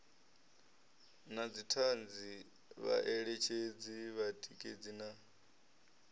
na dzithanzi vhaeletshedzi vhatikedzi na